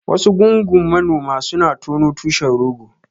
Wasu gungun manoma suna tono tushen rogo.